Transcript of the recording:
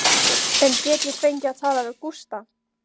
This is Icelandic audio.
En get ég fengið að tala við Gústa?